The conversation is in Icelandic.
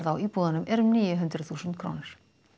á íbúðunum er um níu hundruð þúsund krónur